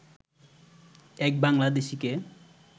এক বাংলাদেশিকে